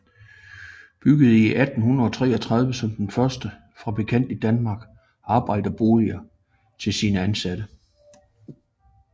Byggede i 1833 som den første fabrikant i Danmark arbejderboliger til sine ansatte